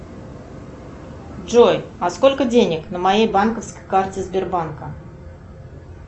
джой а сколько денег на моей банковской карте сбербанка